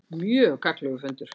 Mjög gagnlegur fundur